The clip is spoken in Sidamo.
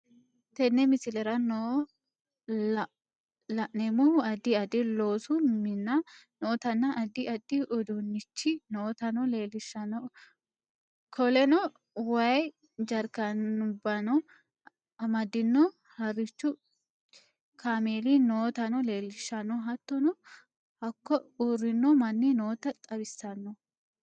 Tenne mislerra noo lanemmohu addi addi loosu minna nootana addi addi uudunnichi nootano lelishanno kooleno wayyi jarkanubanno amadiino hariichu camelli nootano lelishanno hattono hakko uurino manni nootano xawisanno.